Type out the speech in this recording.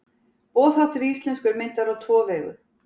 Boðháttur í íslensku er myndaður á tvo vegu.